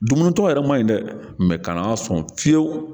Dumunitɔ yɛrɛ man ɲi dɛ ka n'a sɔn fiye fiyewu